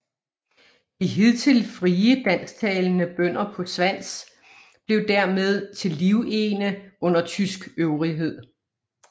De hidtil frie dansktalende bønder på Svans blev dermed til livegne under tysk øvrighed